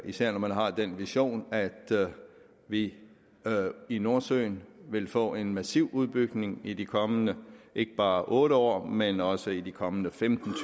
især når man har den vision at vi i nordsøen vil få en massiv udbygning i de kommende ikke bare otte år men også i de kommende femten